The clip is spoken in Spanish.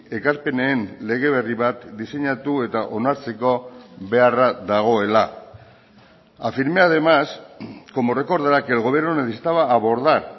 ekarpenen lege berri bat diseinatu eta onartzeko beharra dagoela afirmé además como recordará que el gobierno necesitaba abordar